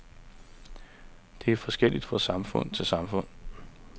Det er forskelligt fra samfund til samfund.